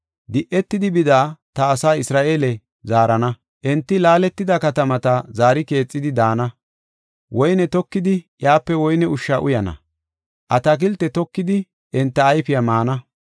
Di77etidi bida ta asaa Isra7eele zaarana; enti laaletida katamata zaari keexidi daana. Woyne tokidi iyape woyne ushsha uyana; atakilte tokidi enta ayfiya maana.